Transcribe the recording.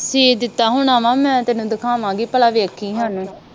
ਸੀ ਦਿੱਤਾ ਹੋਣਾ ਵਾ ਮੈ ਤੈਨੂੰ ਦਖਾਵਾਂਗੀ ਪਲਾ ਵੇਖੀ